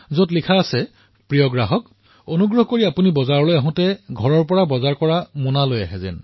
তাত লিখা আছে গ্ৰাহকে নিজৰ মোনা যাতে নিজে লৈ আহে